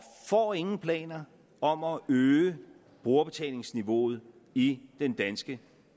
får ingen planer om at øge brugerbetalingsniveauet i den danske